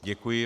Děkuji.